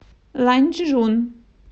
ланчжун